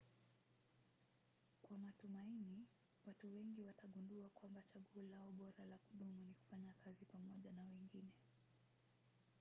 kwa matumaini watu wengi watagundua kwamba chaguo lao bora la kudumu ni kufanya kazi pamoja na wengine